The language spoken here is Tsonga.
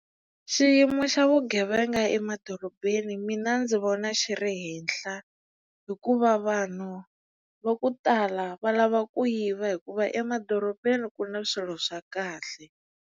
Xiyimo xa vugevenga emadorobeni mina ndzi vona xi ri henhla hikuva vanhu va ku tala va lava ku yiva hikuva emadorobeni ku na swilo swa kahle.